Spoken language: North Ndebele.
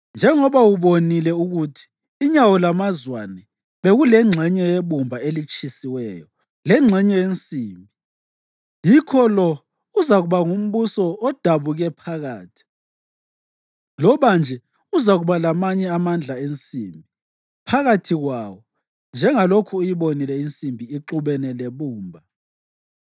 Njengoba ubonile ukuthi inyawo lamazwane bekulengxenye yebumba elitshisiweyo lengxenye yensimbi, yikho lo uzakuba ngumbuso odabuke phakathi; loba nje uzakuba lamanye amandla ensimbi phakathi kwawo, njengalokhu uyibonile insimbi ixubene lebumba.